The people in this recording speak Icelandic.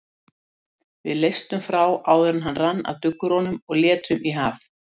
Við leystum frá áður en rann af duggurunum og létum í haf.